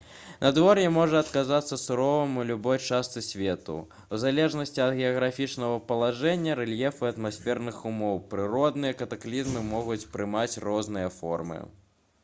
надвор'е можа аказацца суровым у любой частцы свету у залежнасці ад геаграфічнага палажэння рэльефу і атмасферных умоў прыродныя катаклізмы могуць прымаць розныя формы